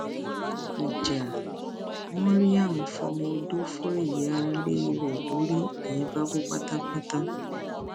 ìjà maryam fọmọọdọ fọ ìyáálé rẹ lórí nìyẹn bá kú pátápátá